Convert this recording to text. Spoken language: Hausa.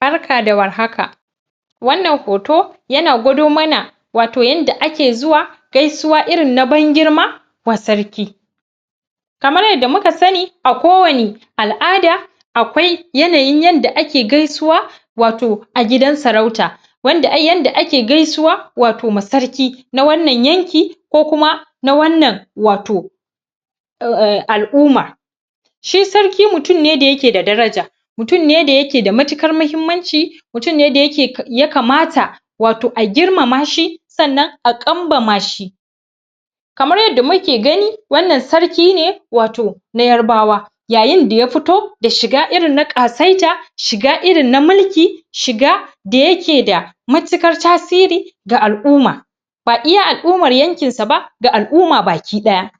barka da war haka annan hoto yana gwado mana wato yanda ake zuwa gaisuwa irin na ban girma wa sarki kamar yadda muka sani a ko wani al'ada akwai yanayin yanda ake gaisuwa wato a gidan sarauta yanda ake gaisuwa wato ma sarki na wannan yanki ko kuma na wannan wato al'uma shi sarki mutum ne da yake da daraja mutum ne da yake da matiƙan mahimmanci mutum ne da ya kamata wato a girmama shi sannan a ƙanbama shi kamar yadda muke gani wannan sarki ne wato na yarbawa yayin da ya fito da shiga irin na ƙasaita shiga irin na mulki shiga da yake da matiƙar tasiri da al'uma ba iya al'umar yankinsa ba da al'uma baki daya